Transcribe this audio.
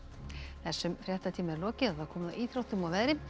þessum fréttatíma er lokið og komið að íþróttum og veðri